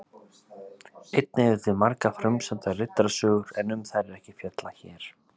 Einnig eru til margar frumsamdar riddarasögur en um þær er ekki fjallað hér.